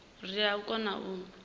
ri tea u kona u